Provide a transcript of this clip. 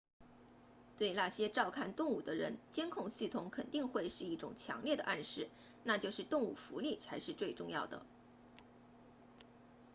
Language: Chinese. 对那些照看动物的人监控系统肯定会是一种强烈的暗示那就是动物福利才是最重要的